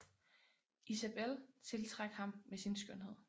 Isabel tiltrak ham med sin skønhed